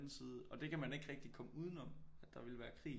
Side og det kan man ikke rigtig komme udenom at der vil være krig